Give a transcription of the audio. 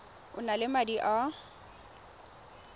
o na le madi a